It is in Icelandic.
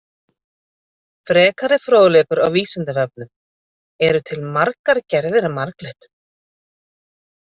Frekari fróðleikur á Vísindavefnum: Eru til margar gerðir af marglyttum?